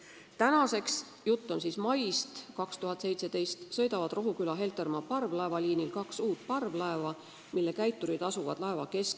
"Tänaseks sõidavad Rohuküla-Heltermaa parvlaevaliinil aga kaks uut parvlaeva, mille käiturid asuvad laeva keskteljel.